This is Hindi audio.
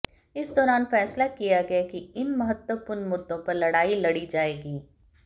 इस दौरान फैसला लिया गया कि इन महत्त्वपूर्ण मुद्दों पर लड़ाई लड़ी जाएगी